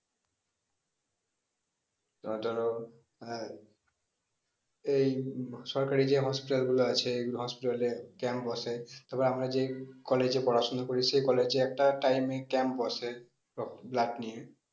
এবার ধরো আহ এই উম আহ সরকারি যে hospital গুলো আছে এইগুলো hospital এ camp বসে তারপরে আমরা যে college এ পড়াশোনা করি সেই college একটা time এ camp বসে রক্ত blood নিয়ে